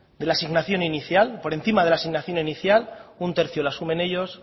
de la asignación inicial por encima de la asignación inicial un tercio lo asumen ellos